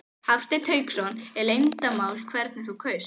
Hafsteinn Hauksson: Er leyndarmál hvernig þú kaust?